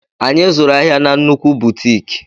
Anyị zụrụ ahịa na nnukwu butiiki.